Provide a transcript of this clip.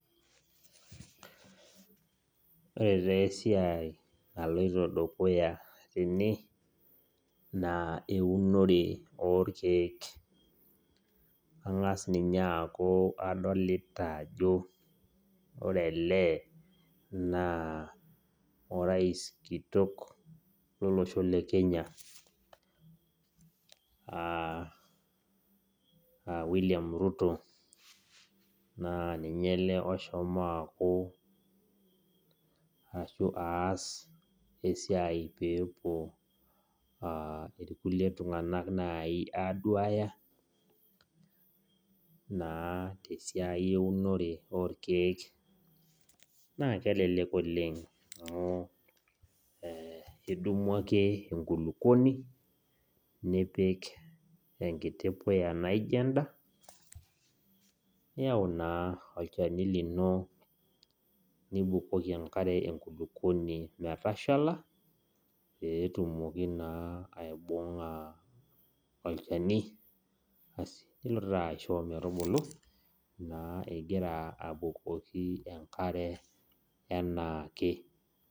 Ore taa esiai naloito dukuya tene naa eunore oo irkiek ang'as ninye ajo ore ele naa orais kitok lolosho le kenya William Ruto naa ninye oshomo aas esiai peepuo irkulie tung'anak naaji aaduya tesiai oorkiek naa kelelek oleng amu idimu ake enkulupuoni nipik enkiti puya naijio enda niyau naa olchani lino nibuko enkare metashala lino naa aaanyu metubulu inkira abukoki enkare enaake